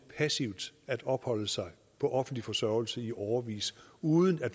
passivt at opholde sig på offentlig forsørgelse i årevis uden at